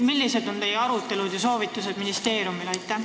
Millised olid teie arutelud ja millised on soovitused ministeeriumile?